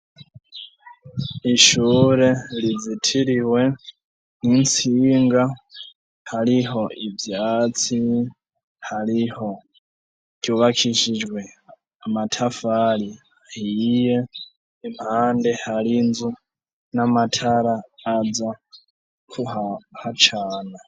ishure rizitiriwe n'intsinga, hariho ivyatsi, hariho ryubakishijwe amatafari ahiye, impande hariho inzu, n'amatara aza kuhacana.